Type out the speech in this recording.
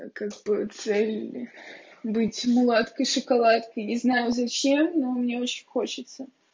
как бы цель быть мулаткой шоколадкой не знаю зачем но мне очень хочется